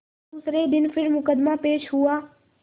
दूसरे दिन फिर मुकदमा पेश हुआ